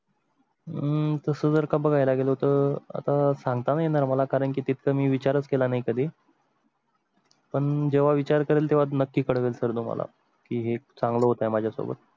हम्म मग तसं जर का बघायला गेलो तर आता सांगता येणार मला कारण की तिथं मी विचारच केला नाही कधी. पण जेव्हा विचार करेल तेव्हा नक्की कळेल तुम्हाला की हे चांगलं होतं माझ्या सोबत.